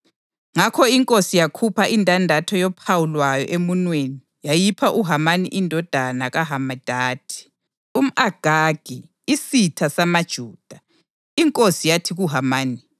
Ngakho inkosi yakhupha indandatho yophawu lwayo emunweni yayipha uHamani indodana kaHamedatha, umʼAgagi, isitha samaJuda. Inkosi yathi kuHamani,